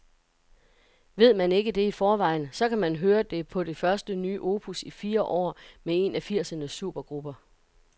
Ved man ikke det i forvejen, så kan man høre det på det første nye opus i fire år med en af firsernes supergrupper.